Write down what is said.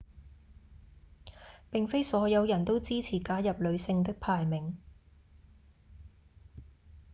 並非所有人都支持加入女性的排名